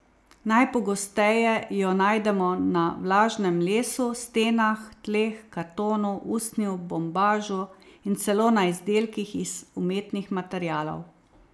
Najpogosteje jo najdemo na vlažnem lesu, stenah, tleh, kartonu, usnju, bombažu in celo na izdelkih iz umetnih materialov.